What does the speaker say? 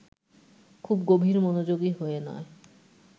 খুব গভীর মনোযোগী হয়ে নয়